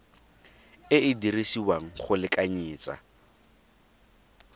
e e dirisiwang go lekanyetsa